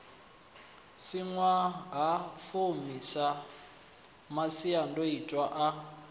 si ṅwahafumi sa masiandoitwa a